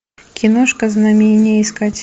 киношка знамение искать